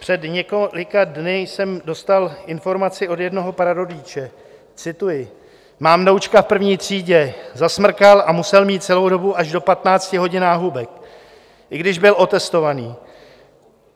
Před několika dny jsem dostal informaci od jednoho prarodiče - cituji: Mám vnoučka v první třídě, zasmrkal a musel mít celou dobu až do 15 hodin náhubek, i když byl otestovaný.